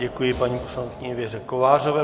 Děkuji paní poslankyni Věře Kovářové.